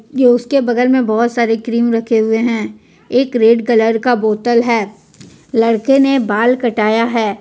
ये उसके बगल में बहुत सारी क्रीम रखे हुए हैं एक रेड कलर का बोतल है लड़के ने बाल कटाया है।